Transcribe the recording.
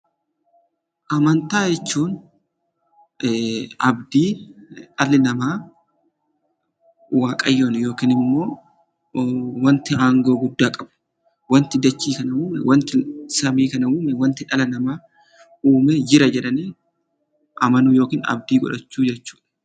Amantaa jechuun abdii dhalli namaa Waaqayyoon yookin immoo wanti aangoo guddaa qabu, wanti dachee kana uume, wanti samii kana uume, wanti dhala namaa uume jira jedhanii amanuu yookin abdii godhachuu jechuudha.